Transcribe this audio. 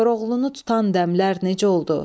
Koroğlunu tutan dəmlər necə oldu?